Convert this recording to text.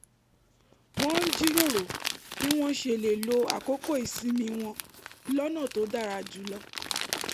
wọ́n ń jíròrò bí wọ́n ṣe lè lo àkókò ìsinmi wọn lọ́nà tó dára jù lọ